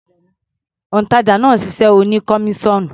Òǹtàjà náà ṣiṣẹ́ oní kọmíṣọ́ọ̀nù.